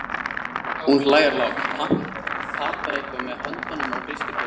Hún hlær lágt, patar eitthvað með höndunum og hristir höfuðið.